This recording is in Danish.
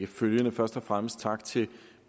følgende først og fremmest tak til